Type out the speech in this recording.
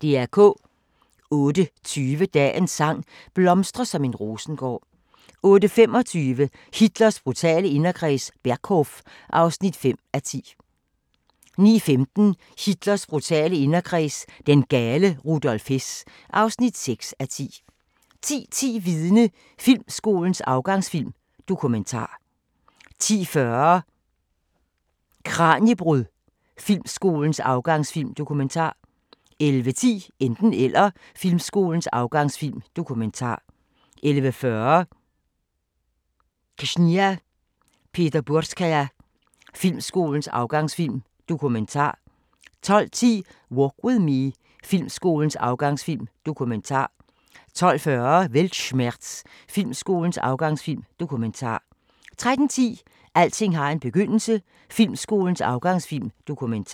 08:20: Dagens sang: Blomstre som en rosengård 08:25: Hitlers brutale inderkreds – Berghof (5:10) 09:15: Hitlers brutale inderkreds – den gale Rudolf Hess (6:10) 10:10: Vidne – Filmskolens afgangsfilm: Dokumentar 10:40: Kraniebrud – Filmskolens afgangsfilm: Dokumentar 11:10: Enten Eller – Filmskolens afgangsfilm: Dokumentar 11:40: Ksenia Peterburgskaya – Filmskolens afgangsfilm: Dokumentar 12:10: Walk With Me – Filmskolens afgangsfilm: Dokumentar 12:40: Weltschmerz – Filmskolens afgangsfilm: Dokumentar 13:10: Alting har en begyndelse – Filmskolens afgangsfilm: Dokumentar